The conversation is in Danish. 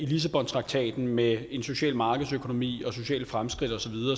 lissabontraktaten med en social markedsøkonomi og sociale fremskridt osv